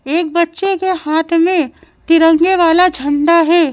एक बच्चे के हाथ में तिरंगे वाला झंडा है।